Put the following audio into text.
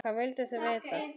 Hvað vilduð þið vita?